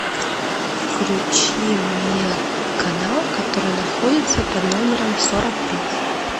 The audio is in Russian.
включи мне канал который находится под номером сорок пять